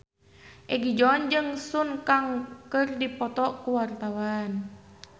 Egi John jeung Sun Kang keur dipoto ku wartawan